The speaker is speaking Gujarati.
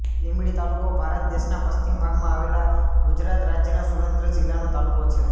લીંબડી તાલુકો ભારત દેશના પશ્ચિમ ભાગમાં આવેલા ગુજરાત રાજ્યના સુરેન્દ્રનગર જિલ્લાનો તાલુકો છે